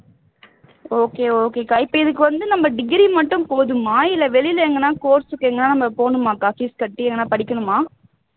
okay okay க்கா இப்போ இதுக்கு வந்து நம்ம degree மட்டும் போதுமா இல்லை வெளில எங்கனா course க்கு எங்கனா நம்ம போகணுமாக்கா fees கட்டி எங்கனா படிக்கணுமா